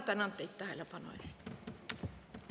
Tänan teid tähelepanu eest!